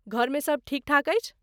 घरमे सब ठीकठाक अछि?